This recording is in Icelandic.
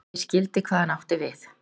Ég skildi hvað hann átti við.